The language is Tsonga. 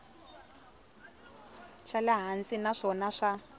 xa le hansi naswona swa